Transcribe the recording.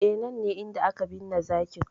E, nan ne inda aka binne zakin.